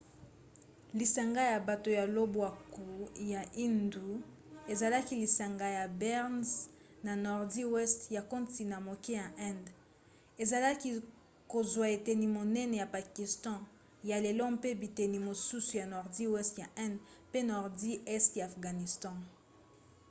lisanga ya bato ya lobwaku ya indus ezalaki lisanga ya brnze na nordi weste ya kontina moke ya inde ezalaki kozwa eteni monene ya pakistan ya lelo mpe biteni mosusu ya nordi weste ya inde mpe nordi este ya afghanistan